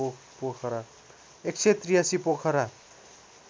१८३ Pokhara